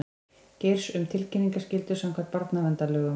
Geirs um tilkynningaskyldu samkvæmt barnaverndarlögum